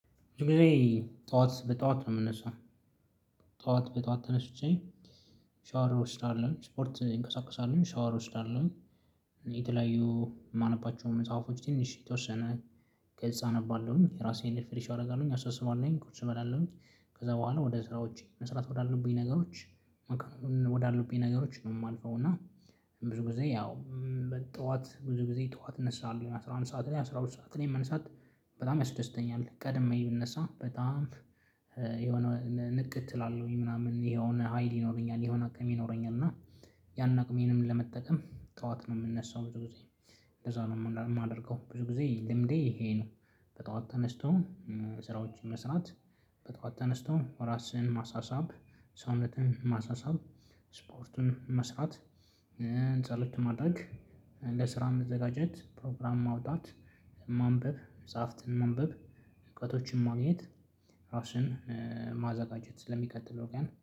እኔ ጠዋት በጠዋት ነው የምነሳው። ጠዋት በጠዋት ተነስቼ ሻወር እወስዳለሁ ስፖርት እንቀሳቀሳለሁ ሻወር እወስዳለሁ። የተለያዩ የማነባቸው መጽሐፎች ትንሽ የተወሰነ ገጽ አነባለሁኝ ራሴን ሪፍሬሽ አደርጋለሁኝ አስታስባለሁኝ ቁርስ እበላለሁኝ። ከዛ በኋላ ወደ ስራዎቼ መስራት ወዳለብኝ ነገሮች ወዳሉብኝ ነገሮች ነው የማልፈው። እና ብዙ ጊዜ ያው በጠዋት ብዙ ጊዜ ጠዋት እነሳለሁ አስራ አንድ ሰዓት ላይ አስራ ሁለት ሰዓት ላይ መነሳት በጣም ያስደስተኛል። ቀድሜ ብነሳ በጣም የሆነ ንቅት እላለህ ወይ ምናምን ይሄውን ሀይል ይኖረኛል የሆነ አቅም ይኖረኛል እና። ያንን አቅሜንም ለመጠቀም ጠዋት ነው የምነሳው ብዙ ጊዜ እንደዛ ነው የማደርገው። ብዙ ጊዜ ልምዴ ይሄ ነው። በጧት ተነስቶ ስራዎችን መስራት በጧት ተነስቶ ራስን ማሳሳብ ሰውነትን ማሳሳብ ስፖርቱን መስራት። ጸሎት ማድረግ ለስራ መዘጋጀት ፕሮግራም ማውጣት ማንበብ መጽሐፍትን ማንበብ እውቀቶችን ማግኘት ራስን ማዘጋጀት ስለሚቀጥለው ቀን